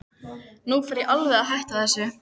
En nú fer ég alveg að hætta þessu.